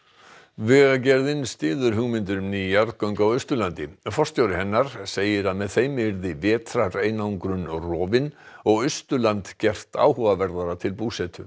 vegagerðin styður hugmyndir um ný jarðgöng á Austurlandi forstjóri hennar segir að með þeim yrði vetrareinangrun rofin og Austurland gert áhugaverðara til búsetu